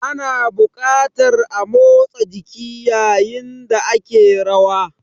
Ana buƙatar a motsa jiki yayin da ake rawa.